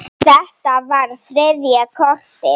Þetta var þriðja kortið.